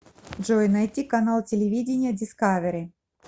джой найти канал телевидения дискавери